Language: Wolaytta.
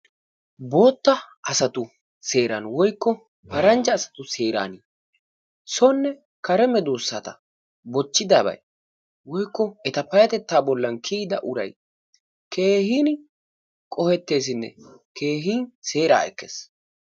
bootta asatui seeran woykko paranjja asatu seeran sone kare medoosata bochidabay woykko eta payatettaa bolan kiyida uray keehin qoheteesinne keehin seeraa ekkees.